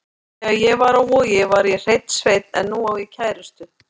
Þegar ég var á Vogi var ég hreinn sveinn en nú á ég kærustu.